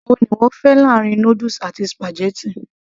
èwo ni ìwọ fẹ́ láàrin noodles àti spaghetti